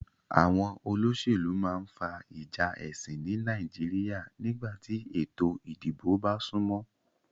Àwon olósèlú ma n fa ìjà èsìn ni Naijiria nígbàtí ètò ìdibò ba súnmó